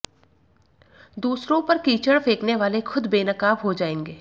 दूसरों पर कीचड़ फेंकने वाले खुद बेनकाब हो जाएगें